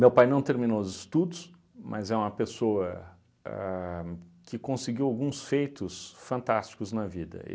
Meu pai não terminou os estudos, mas é uma pessoa a que conseguiu alguns feitos fantásticos na vida.